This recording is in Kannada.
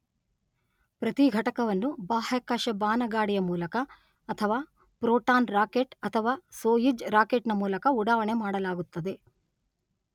ಪ್ರತಿ ಘಟಕವನ್ನು ಬಾಹ್ಯಾಕಾಶ ಬಾನಗಾಡಿಯ ಮೂಲಕ ಅಥವಾ ಪ್ರೋಟಾನ್ ರಾಕೆಟ್ ಅಥವಾ ಸೊಯುಜ್ ರಾಕೆಟ್ ನ ಮೂಲಕ ಉಡಾವಣೆ ಮಾಡಲಾಗುತ್ತದೆ.